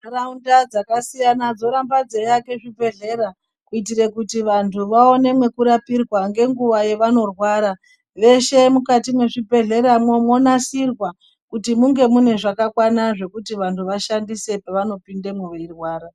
Nharaunda dzakasiyana dzorambe dzeiake zvibhedhlera kuitire kuti vantu vaone pekurapirwa ngenguva yevanorwara. Veshe mukati mwezvibhehleramwo mwonasirwa kuti munge mune zvakakwana zvokuti vanhu vashandise pevanopindemwo veirwara.